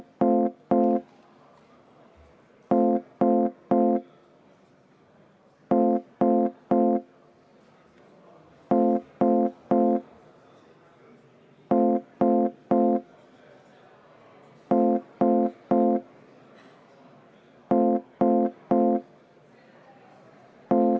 Alustuseks võtan juhataja vaheaja kümme minutit.